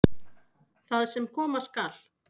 Það sem koma skal